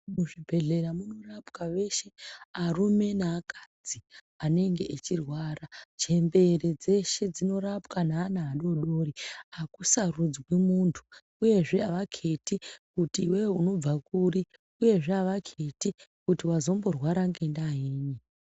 Muzvibhedlera munorapwa veshe arume neakadzi anenge echirwara, chembere dzeshe dzinorapwa neana adodori akusarudzwi mundu uyezve avaketi kuti iwewe unobva kuri uyezve avaketi kuti wazomborwara ngedava yei.